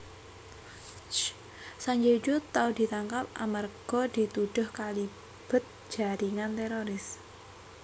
Sanjay Dutt tau ditangkap amarga dituduh kalibet jaringan teroris